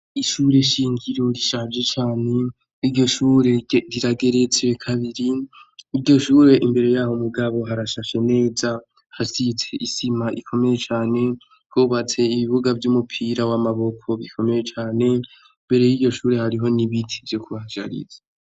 Ishure shingiro rishaje cane, iryo shure rirageretse kabiri, iryo shure imbere ya ho mugabo harashashe neza, hasize isima ikomeye cane, hubatse ibibuga vy'umupira w'amaboko bikomeye cane, imbere y'iryo shure hariho n'ibiti vyo kuhashariza.